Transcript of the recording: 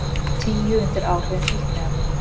Tíu undir áhrifum fíkniefna